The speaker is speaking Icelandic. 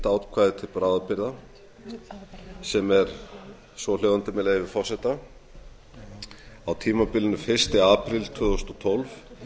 ákvæði til bráðabirgða svohljóðandi með leyfi forseta á tímabilinu fyrsta apríl tvö þúsund og tólf